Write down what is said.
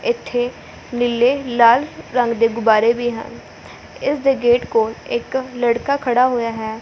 ਏੱਥੇ ਨੀਲੇ ਲਾਲ ਰੰਗ ਦੇ ਗੁਬਾਰੇ ਵੀ ਹਨ ਇਸਦੇ ਗੇਟ ਕੋਲ ਇੱਕ ਲੜਕਾ ਖੜਾ ਹੋਇਆ ਹੈ।